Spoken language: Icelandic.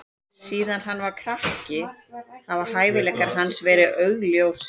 Síðan hann var krakki hafa hæfileikar hans verið augljósir.